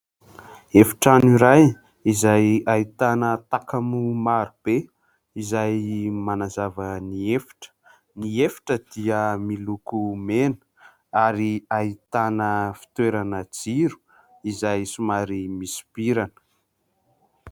Efitrano iray izay ahitana takamo maro be izay manazava ny efitra. Ny efitra dia miloko mena ary ahitana fitoerana jiro izay somary misopirana.